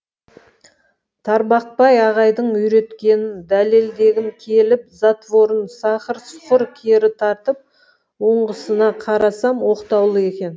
тарбақбай ағайдың үйреткенін дәлелдегім келіп затворын сақыр сұқыр кері тартып ұңғысына қарасам оқтаулы екен